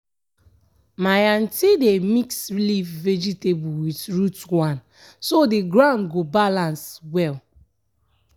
when you use plant padi plant you um nor go dey use the ground too much with one um crop.